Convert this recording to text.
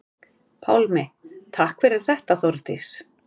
Pálmi: Takk fyrir þetta Þórdís.